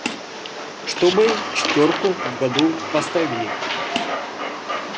чтобы четвёрку в году поставили